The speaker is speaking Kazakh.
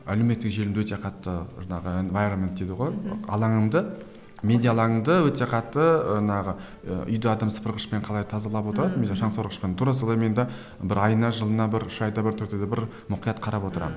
әлеуметтік желімді өте қатты жаңағы дейді ғой мхм алаңымды медиа алаңымды өте қатты жаңағы і үйде адам сыпырғышпен қалай тазалап отырады шаңсорғышпен тура сондай менде бір айына жылына бір үш айда бір төрт айда бір мұқият қарап отырамын